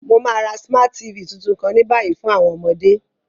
Mo ma ra Smart TV tuntun kan ni bayi fun àwọn ọmọde.